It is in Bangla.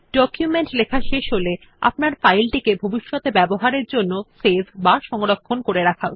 ডকুমেন্টটি লেখা শেষ হলে আপনার ফাইল টিকে ভবিষ্যতে ব্যবহারের জন্য সেভ বা সংরক্ষণ করা উচিত